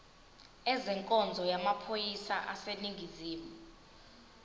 ezenkonzo yamaphoyisa aseningizimu